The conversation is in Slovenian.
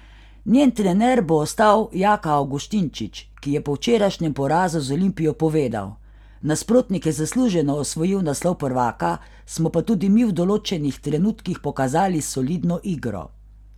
Njen trener bo ostal Jaka Avgustinčič, ki je po včerajšnjem porazu z Olimpijo povedal: 'Nasprotnik je zasluženo osvojil naslov prvaka, smo pa tudi mi v določenih trenutkih pokazali solidno igro.